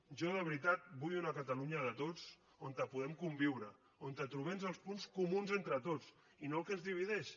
jo de veritat vull una catalunya de tots on puguem conviure on trobem els punts comuns entre tots i no el que ens divideix